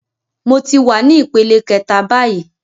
Mo ti wa ní ìpele kẹta báyìí